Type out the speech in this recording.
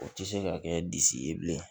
O tɛ se ka kɛ disi ye bilen